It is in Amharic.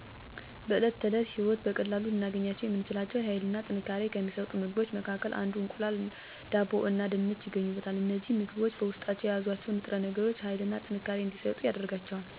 በዕለት ተዕለት ህይወት በቀላሉ ልናገኛቸው የምንችላቸው ኃይልና ጥንካሬን ከሚሠጡ ምግቦች መካከል እንደ እንቁላል፣ ዳቦ እና ድንች ይገኙበታል። እነዚህ ምግቦች በውስጣቸው የያዙአቸው ንጥረነገሮች ኃይልና ጥንካሬ እንዲሠጡን ያደርጋቸዋል። እነዚህን ምግቦች በተለያየ መንገድ ልናዘጋጃቸው እንችላለን፤ ለምሳሌ በወጥ መልክ በመስራት፣ በመቀቀል፣ በመጥበስ እና በመጋገር ሊሆን ይችላል።